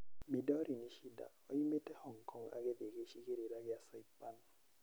Midori Nishida, oimĩte Hong Kong agĩthiĩ gĩcigĩrĩra kĩa Saipan.